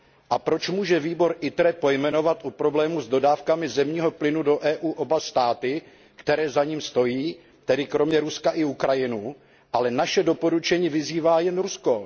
A proč může výbor ITRE pojmenovat u problému s dodávkami zemního plynu do EU oba státy, které za ním stojí, tedy kromě Ruska i Ukrajinu, ale naše doporučení vyzývá jen Rusko?